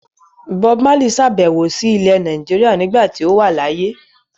Bob Marley sàbẹ̀wò sí ilẹ̀ Nàìjíríà nígbà tí ó wà láyé.